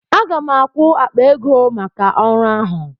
Aga m akwụ akpa ego maka ọrụ ahụ.